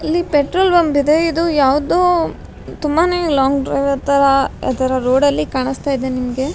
ಇಲ್ಲಿ petrol pump ಇದೆ ಇದು ಯಾವ್ದೋ ತುಂಬಾನೇ ಲಾಂಗ್ ಡ್ರೈವರ್ ತರ ಆತರ ರೋಡಲ್ಲಿ ಕಾಣ್ಸ್ತಾ ಇದೆ ನಿಮ್ಗೆ.